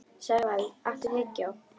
Sævald, áttu tyggjó?